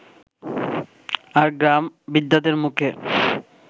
আর গ্রাম-বৃদ্ধাদের মুখে